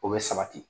O bɛ sabati